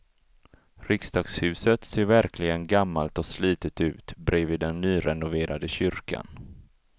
Riksdagshuset ser verkligen gammalt och slitet ut bredvid den nyrenoverade kyrkan.